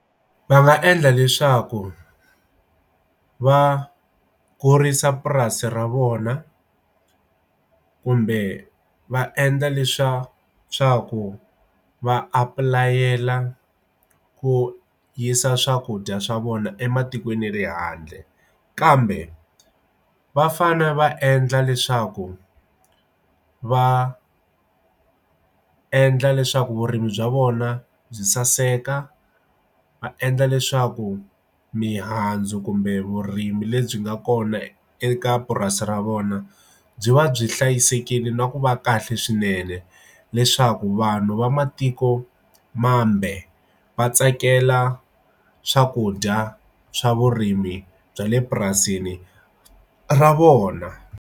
Va nga endla leswaku va kurisa purasi ra vona kumbe va endla leswa swa ku va apulayela ku yisa swakudya swa vona ematikweni ya le handle kambe vafane va endla leswaku va endla leswaku vurimi bya vona byi saseka va endla leswaku mihandzu kumbe vurimi lebyi nga kona eka purasi ra vona byi va byi hlayisekile na ku va kahle swinene le swaku vanhu vamatiko mambe va tsakela swakudya swa vurimi bya le purasini ra vona.